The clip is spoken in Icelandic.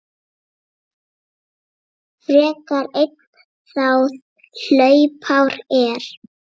frekar einn þá hlaupár er.